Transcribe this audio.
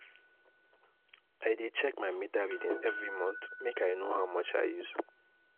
I dey check my meter reading every month, make I know how much I use.